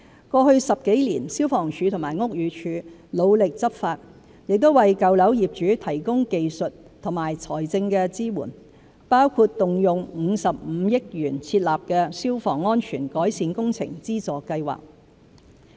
過去10多年，消防處和屋宇署努力執法，亦為舊樓業主提供技術和財政支援，包括動用55億元設立的消防安全改善工程資助計劃。